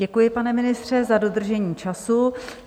Děkuji, pane ministře, za dodržení času.